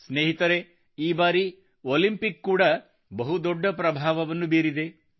ಸ್ನೇಹಿತರೆ ಈ ಬಾರಿ ಒಲಿಂಪಿಕ್ ಕೂಡಾ ಬಹುದೊಡ್ಡ ಪ್ರಭಾವವನ್ನು ಬೀರಿದೆ